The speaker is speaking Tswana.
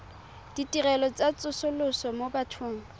ditirelo tsa tsosoloso mo bathong